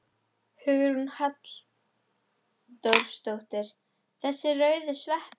Hugrún Halldórsdóttir: Þessir rauðu sveppir?